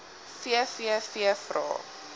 vvvvrae